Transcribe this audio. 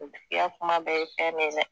O tigi ka kuma bɛɛ ye hɛɛrɛ ye dɛ!